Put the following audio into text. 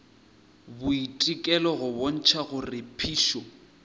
boitekelo go bontšha gore phišo